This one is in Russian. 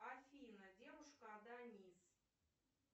афина девушка аданиз